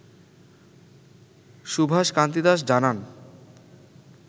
সুভাষ কান্তি দাস জানান